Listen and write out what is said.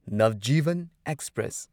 Navjivan express